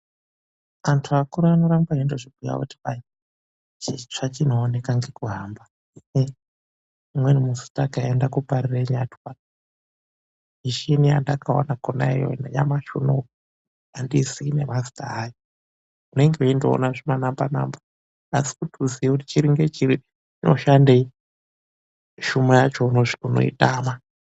Andu akura anoramba eizvibhuya kuti hai chitsva chinoonekwa nekuhamba. Umweni musi takaenda kuParirenyatwa, mishini yandakaona konaiyoyo zvekuti nanyamashi unou andizivi nemazita awo unenge weindoona zvimanamba namba, asi kuti uzive kuti chiri ngechiri zvinoshandei hlumo yacho unoitama.